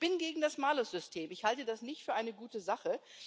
Ich bin gegen das Malussystem, ich halte das nicht für eine gute Sache.